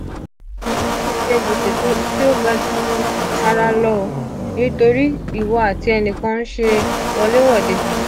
ewu: mase je gbese ti o ga jara lo nitori iwo ati enikan nse wolewode